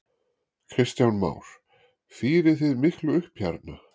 Kristján Már: Fírið þið miklu upp hérna?